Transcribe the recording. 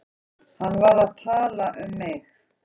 Var hann að tala um mig?